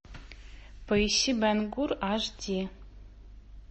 поищи бен гур аш ди